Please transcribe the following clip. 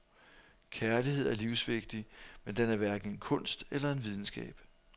Kærlighed er livsvigtig, men den er hverken en kunst eller en videnskab.